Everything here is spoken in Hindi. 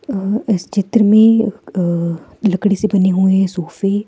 अह इस चित्र में अह लकड़ी से बने हुए सोफे --